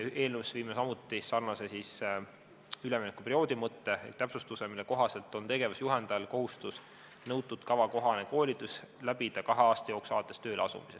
Eelnõusse viime samuti sarnase üleminekuperioodi mõtte ehk täpsustuse, mille kohaselt on tegevusjuhendajal kohustus nõutud kava kohane koolitus läbida kahe aasta jooksul alates tööle asumisest.